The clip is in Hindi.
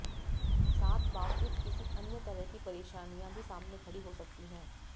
साथ बावजूद किसी अन्य तरह की परेशानियां भी सामने खड़ी हो सकती हैं